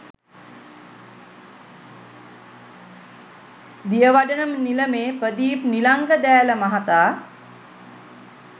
දියවඩන නිලමේ ප්‍රදීප් නිලංග දෑල මහතා